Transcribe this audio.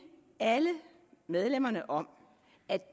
alle medlemmerne om at